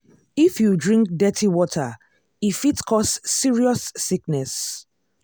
if you drink dirty water e fit cause serious sickness.